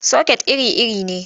Soket iri-iri ne.